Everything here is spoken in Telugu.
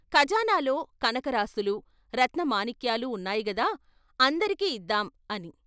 "ఖజానాలో కనకరాసులూ, రత్న మాణిక్యాలూ ఉన్నాయిగదా, అందరికి ఇద్దాం " అని.